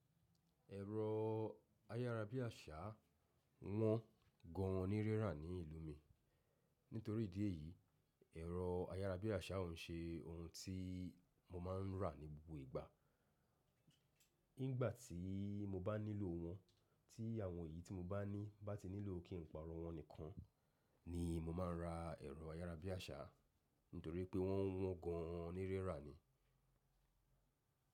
Ẹ̀rọ ayárabíàṣá wọ́n gan an ní rirà ní ìlú mi. Nítorí ìdí èyí, ẹ̀rọ ayárabíàṣá ò ń ṣe ohun tí mo máa ń rà ní gbogbo ìgbà. Nígbà tí mo bá nílò wọ́n, tí àwọn èyí tí mo bá ní bá ti nílò kí n pààrọ̀ wọ́n nìkan ni mo máa ń ra ẹ̀rọ ayárabíàṣá. Nítorí pé wọ́n wọ́n gan an onírẹ́rà ni.